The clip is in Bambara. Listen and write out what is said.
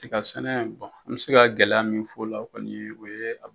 Tiga sɛnɛ an me se ka gɛlɛya min f'o la kɔni o ye a